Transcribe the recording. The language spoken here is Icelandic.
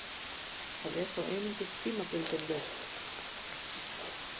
Það er þó einungis tímabundin lausn